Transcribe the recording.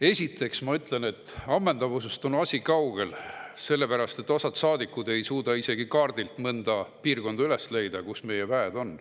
Esiteks ma ütlen, et ammendavusest on asi kaugel, sellepärast et osa saadikud ei suuda isegi leida kaardilt üles mõnda piirkonda, kus meie väed on.